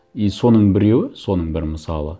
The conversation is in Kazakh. и соның біреуі соның бір мысалы